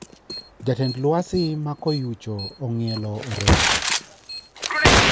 Jatend alwasi ma koyucho ong`ielo orengo